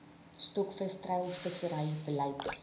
stokvis treilvissery beleid